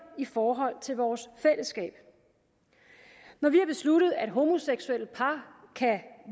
i forhold til vores fællesskab når vi har besluttet at homoseksuelle par kan